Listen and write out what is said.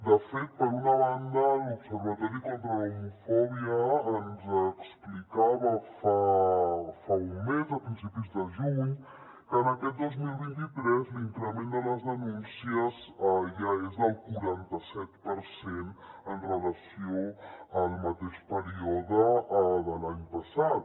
de fet per una banda l’observatori contra l’homofòbia ens explicava fa un mes a principis de juny que en aquest dos mil vint tres l’increment de les denúncies ja és del quaranta set per cent amb relació al mateix període de l’any passat